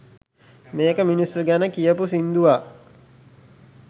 මේක මිනිස්සු ගැන කියපු සින්දුවක්